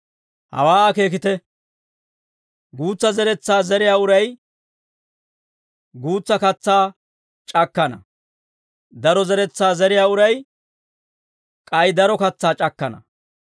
Hawaa akeekite; guutsa zeretsaa zeriyaa uray guutsa katsaa c'akkana; daro zeretsaa zeriyaa uray k'ay daro katsaa c'akkana.